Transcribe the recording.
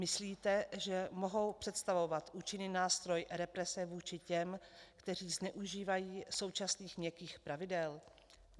Myslíte, že mohou představovat účinný nástroj represe vůči těm, kteří zneužívají současných měkkých pravidel?